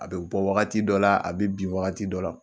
A bɛ bɔ wagati dɔ la, a bɛ bin wagati dɔ la.